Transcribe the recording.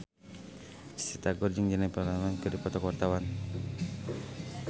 Risty Tagor jeung Jennifer Lawrence keur dipoto ku wartawan